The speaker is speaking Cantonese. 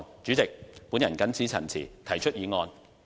主席，我謹此陳辭，提出議案。